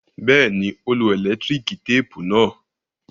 Bẹ́ẹ̀ni, ó lo ẹ̀lẹ́tíríkì téépù náà.